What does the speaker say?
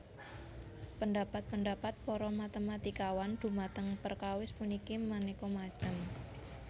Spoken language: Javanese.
Pendhapat pendhapat para matématikawan dhumateng perkawis puniki manéka macem